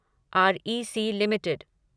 REC limited